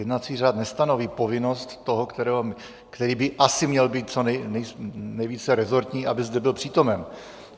Jednací řád nestanoví povinnost toho, který by asi měl být co nejvíce resortní, aby zde byl přítomen.